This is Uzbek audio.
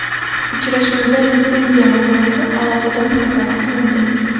Uchrashuvda litsenziya masalasi alohida muhokama qilindi.